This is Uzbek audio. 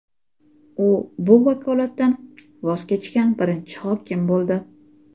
U bu vakolatdan voz kechgan birinchi hokim bo‘ldi.